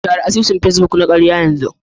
Share asusun Facebook na karya yanzu